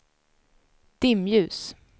dimljus